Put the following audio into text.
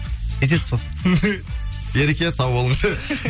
жетеді сол ереке сау болыңыз